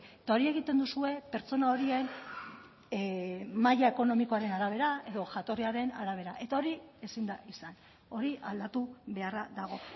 eta hori egiten duzue pertsona horien maila ekonomikoaren arabera edo jatorriaren arabera eta hori ezin da izan hori aldatu beharra dago